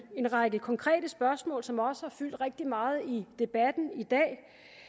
en række konkrete spørgsmål som også har fyldt rigtig meget i debatten i dag